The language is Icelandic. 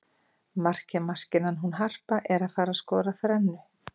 Markamaskínan hún Harpa er að fara skora þrennu.